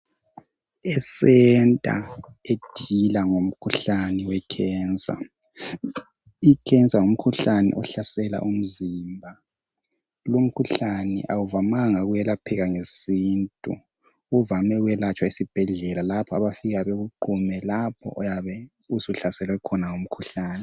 Isenta edila ngomkhuhlane wekhensa, ikhensa ngumkhuhlane ohlasela umzimba lumkhuhlane awuvamanga ukwelapheka ngesintu uvame ukwelatshwa esibhedlela lapho abafika bakuqume lapho oyabe usuhlaselwe ngumkhuhlane.